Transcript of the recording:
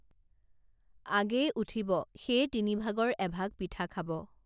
আগেয়ে উঠিব সেয়ে তিনিভাগৰ এভাগ পিঠা খাব